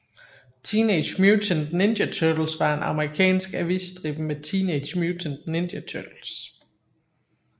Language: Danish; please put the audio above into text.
Teenage Mutant Ninja Turtles var en amerikansk avisstribe med Teenage Mutant Ninja Turtles